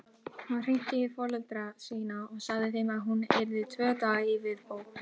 Hún hringdi í foreldra sína og sagði þeim að hún yrði tvo daga í viðbót.